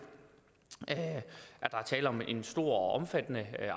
at der er tale om en stor og omfattende